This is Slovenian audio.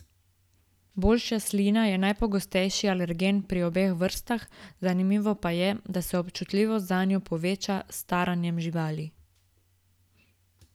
Bolšja slina je najpogostejši alergen pri obeh vrstah, zanimivo pa je, da se občutljivost zanjo poveča s staranjem živali.